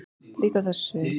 Líka á þessu sviði.